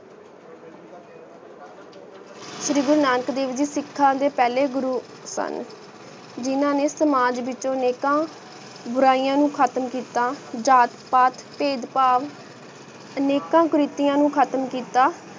ਸ਼੍ਰੀ ਗੁਰੂ ਨਾਨਕ ਦੇਵ ਜੀ ਸਿੱਖਾਂ ਦੇ ਪਹਲੇ ਗੁਰੂ ਸਨ ਜਿਨਾ ਨੇ ਸਮਾਜ ਵਿਚੋ ਨੇਕਾ ਬੁਰਾਈਆਂ ਨੂੰ ਖਤਮ ਕਿੱਤਾ ਜਾਤ ਪਾਤ ਭੇਦ ਭਾਵ ਅਨੇਕਾਂ ਕਰਿਤਿਯਾਂ ਨੂੰ ਖਤਮ ਕਿੱਤਾ